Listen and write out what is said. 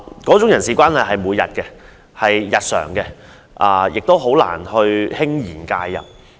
這種日常的人事關係，校董會很難輕言介入。